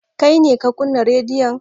Kai ne ka kunna rediyon?